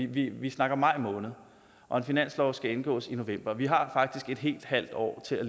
vi vi snakker maj måned og en finanslov skal indgås i november vi har faktisk et helt halvt år til at